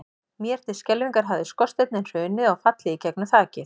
Mér til skelfingar hafði skorsteinninn hrunið og fallið inn í gegnum þakið.